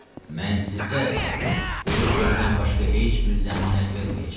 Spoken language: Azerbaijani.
Mən sizə quru sözdən başqa heç bir zəmanət verməyəcəm.